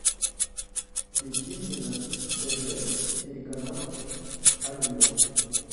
включи мне на тв телеканал олива